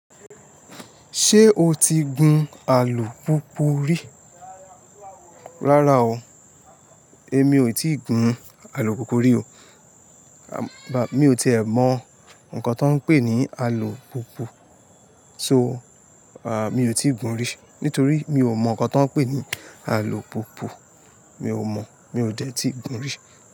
Ṣé o ti gun alùpùpù rí? Rárá o, èmi ò tí ì gun alùpùpù rí o. Mi ò tí è mọ nǹkan tó ń pé ní alùpùpù, so mi ò tí ì gun rí. Nítorí mi ò mọ nǹkan tó ń pé ní alùpùpù, mi ò mọ̀, mi ò dẹ̀ tí ì gun rí.